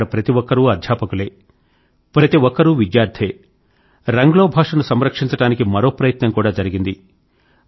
అక్కడ ప్రతి ఒక్కరూ అధ్యాపకులే ప్రతి ఒక్కరూ విద్యార్థే రంగ్లో భాషను సంరక్షించడానికి మరో ప్రయత్నం కూడా జరిగింది